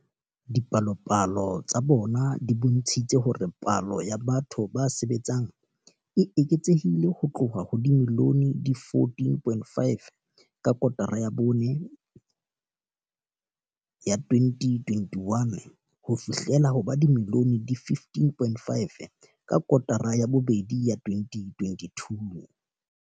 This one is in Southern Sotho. Dipalopalo tsa bona di bontshitse hore palo ya batho ba sebetsang e eketsehile ho tloha ho ba dimilione di 14.5 ka kotara ya bone ya 2021 ho fihlela ho ba dimilione di 15.5 ka kotara ya bobedi ya 2022.